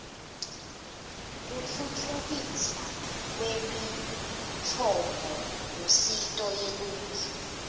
kutfutfukiswa kwemitfombolusito yeluntfu